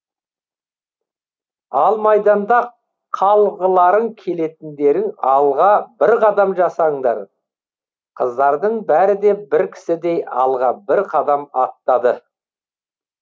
ал майданда қалғыларың келетіндерің алға бір қадам жасаңдар қыздардың бәрі де бір кісідей алға бір қадам аттады